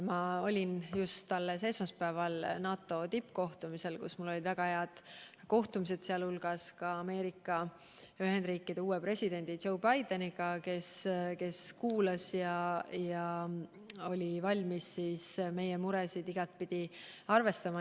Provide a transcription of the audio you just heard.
Ma olin just alles esmaspäeval NATO tippkohtumisel, kus mul olid väga head kohtumised, sealhulgas Ameerika Ühendriikide uue presidendi Joe Bideniga, kes meid kuulas ja oli igatpidi valmis meie muresid arvestama.